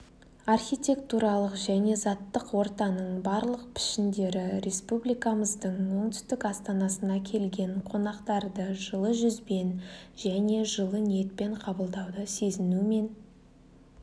архитектуралық және заттық ортаның барлық пішіндері республикамыздың оңтүстік астанасына келген қонақтарды жылы жүзбен және жылы ниетпен қабылдауды сезінумен